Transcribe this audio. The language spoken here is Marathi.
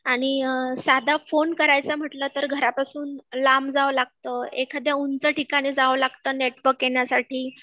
आणि साधा फोन करायचं म्हटला तर घरापासून लांब जावं लागतं, एखाद्या उंच ठिकाणी जावं लागतं नेटवर्क येण्यासाठी